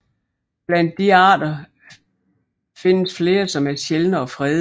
Blandt disse arter findes flere som er sjældne og fredede